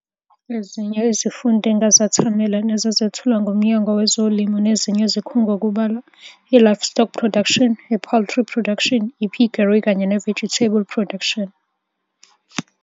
Ezinye izifundo engazethamela nezazethulwa nguMnyango weZolimo nezinye izikhungo kubalwa, i-Livestock Production, i-Poultry Production, i-Piggery kanye ne-Vegetable Production.